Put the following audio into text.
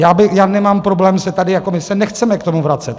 Já nemám problém se tady jako - my se nechceme k tomu vracet.